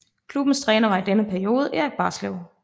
Klubbens træner var i denne periode Erik Barslev